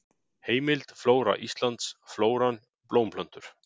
Heimild: Flóra Íslands: Flóran: Blómplöntur.